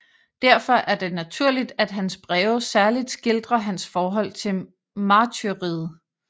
Derfor er det naturligt at hans breve særligt skildrer hans forhold til martyriet